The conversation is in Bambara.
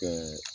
Ɛɛ